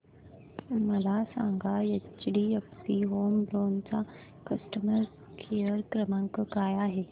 मला सांगा HDFC home loan चा कस्टमर केअर क्रमांक काय आहे